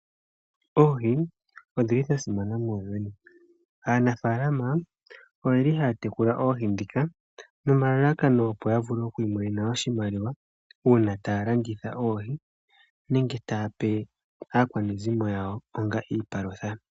Oohi odhili dhasimana Muuyuni . Aanafaalama oyeli haya tekula oohi nomalalakano opp yamone oshimaliwa, nenge tayape aakwanezimo yawo onga iipalutha.